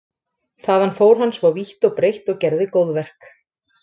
Þaðan fór hann svo vítt og breitt og gerði góðverk.